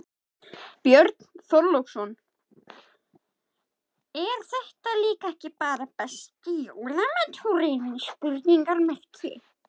Björn Þorláksson: Er þetta líka ekki bara besti jólamaturinn?